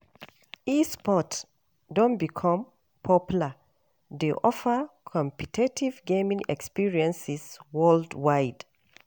E-sports don become popular, dey offer competitive gaming experiences worldwide.